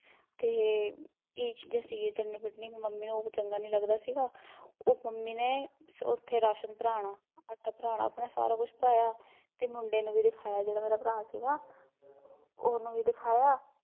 ਤੇ, ਏਹ ਚੀਜ਼ਾਂ ਸੀਗੀਆ, ਚਟਨੀ ਕੁੱਟਣੀ ਤੇ ਮੰਮੀ ਨੂੰ ਉਹ ਚੰਗਾ ਨੀ ਲੱਗਦਾ ਸੀਗਾ ਉਹ ਮੰਮੀ ਨੇ, ਓਥੇ ਰਾਸ਼ਨ ਭਰਾਉਣਾ, ਆਟਾ ਭਰਾਉਣਾ ਆਪਣਾ ਸਭ ਕੁਸ਼ ਭਰਾਇਆ, ਤੇ ਮੁੰਡੇ ਨੂੰ ਵੀ ਭਰਾਇਆ ਜਿਹੜਾ ਮੇਰਾ ਭਰਾ ਸੀਗਾ ਉਹਨੂੰ ਵੀ ਦਿਖਾਇਆ